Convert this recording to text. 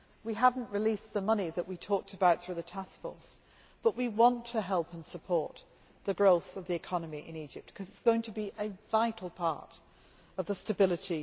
We have not released the money that we talked about through the Task Force, but we want to help and support the growth of the economy in Egypt, because it is going to be a vital part of future stability.